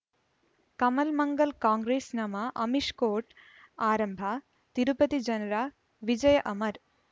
ಕಮಲ್ ಮಂಗಳ್ ಕಾಂಗ್ರೆಸ್ ನಮಃ ಅಮಿಷ್ ಕೋರ್ಟ್ ಆರಂಭ ತಿರುಪತಿ ಜನರ ವಿಜಯ ಅಮರ್